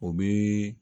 U bi